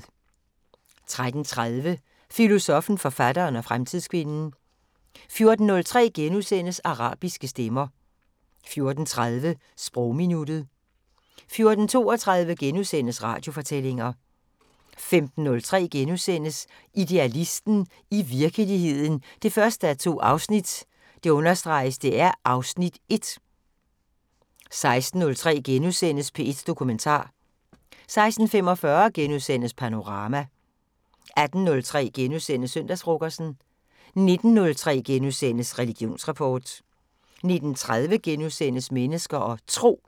13:30: Filosoffen, forfatteren og fremtidskvinden 14:03: Arabiske stemmer * 14:30: Sprogminuttet 14:32: Radiofortællinger * 15:03: Idealisten – i virkeligheden 1:2 (Afs. 1)* 16:03: P1 Dokumentar * 16:45: Panorama * 18:03: Søndagsfrokosten * 19:03: Religionsrapport * 19:30: Mennesker og Tro *